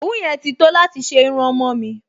Òwú yẹn ti tó láti ṣe irun ọmọ-ọ̀n mi